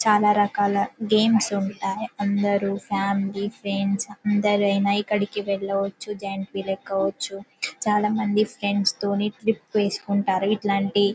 చాలా రకాల గేమ్స్ ఉంటాయి అందరూ ఫామిలీ ఫ్రెండ్స్ అందరూ ఆయన ఎక్కడికి వేళ్ళ వచ్చు జాయింట్ వీల్ ఎక్కవోచు. చాల మంది ఫ్రెండ్స్ తోని ట్రిప్ వేసుకుంటారు ఇట్లాంటి